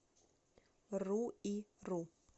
руиру